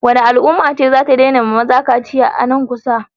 Wacce al'umma ce zata daina wa maza kaciya nan kusa?